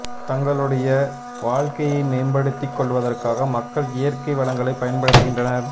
தங்களுடைய வாழ்க்கையை மேம்படுத்திக் கொள்வதற்காக மக்கள் இயற்கை வளங்களைப் பயன்படுத்துகின்றனர்